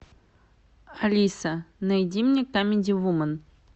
алиса найди мне камеди вумен